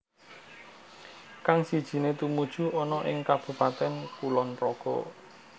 Kang sijiné tumuju ana ing Kabupaten Kulonpraga